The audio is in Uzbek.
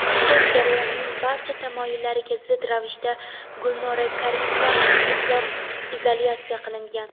Sud jarayonining barcha tamoyillariga zid ravishda Gulnora Karimova mutlaq izolyatsiya qilingan.